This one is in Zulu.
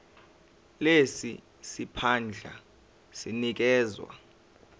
lesi siphandla sinikezwa